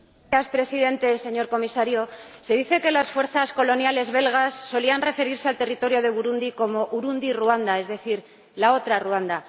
Señora Presidenta, señor Comisario, se dice que las fuerzas coloniales belgas solían referirse al territorio de Burundi como Urundi Ruanda, es decir la otra Ruanda.